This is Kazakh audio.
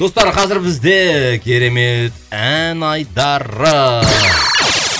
достар қазір бізде керемет ән айдары